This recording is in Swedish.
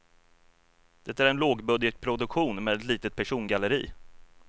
Det är en lågbudgetproduktion med ett litet persongalleri.